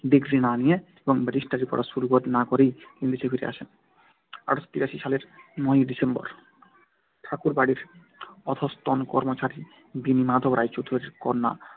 Degree না নিয়ে এবং ব্যারিস্টারি পড়া শুরু না করেই তিনি দেশে ফিরে আসেন। আটশো তিরাশি সালের নয় ডিসেম্বর ঠাকুরবাড়ির অধস্তন কর্মচারী বেণীমাধব রায়চৌধুরীর কন্যা